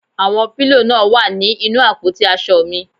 Àwọn pílò náà wà ní inú àpótí aṣọ mi